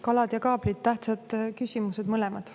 Kalad ja kaablid – tähtsad küsimused mõlemad.